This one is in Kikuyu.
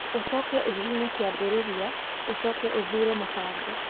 ũcoke ũhihinye kiambĩrĩria ũcoke ũthuure mbango